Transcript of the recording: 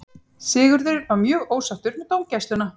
Sigurður var mjög ósáttur með dómgæsluna.